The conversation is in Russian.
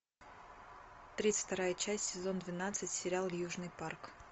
тридцать вторая часть сезон двенадцать сериал южный парк